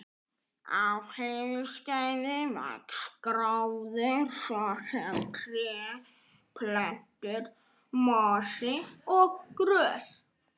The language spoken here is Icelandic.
Á hlýskeiði vex gróður, svo sem tré, plöntur, mosi og grös.